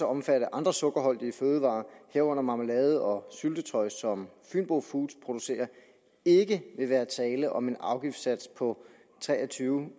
omfatte andre sukkerholdige fødevarer herunder marmelade og syltetøj som fynbo foods producerer ikke vil være tale om en afgiftssats på tre og tyve